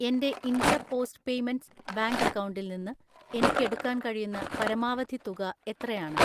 എൻ്റെ India post payments bank അക്കൗണ്ടിൽ നിന്ന് എനിക്ക് എടുക്കാൻ കഴിയുന്ന പരമാവധി തുക എത്രയാണ്?